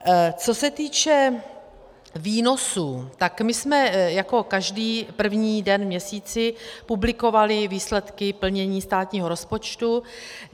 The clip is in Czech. Co se týče výnosů, tak my jsme jako každý první den v měsíci publikovali výsledky plnění státního rozpočtu.